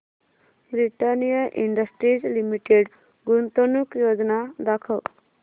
Britannia industries limited गुंतवणूक योजना दाखव